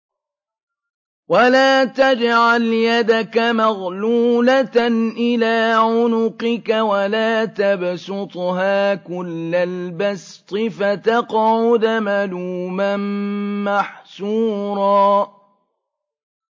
وَلَا تَجْعَلْ يَدَكَ مَغْلُولَةً إِلَىٰ عُنُقِكَ وَلَا تَبْسُطْهَا كُلَّ الْبَسْطِ فَتَقْعُدَ مَلُومًا مَّحْسُورًا